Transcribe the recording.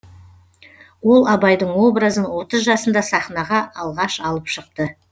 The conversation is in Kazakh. ол абайдың образын отыз жасында сахнаға алғаш алып шықты